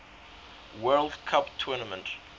world cup tournament